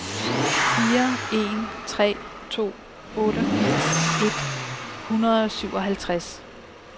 fire en tre to otteogfirs et hundrede og syvoghalvtreds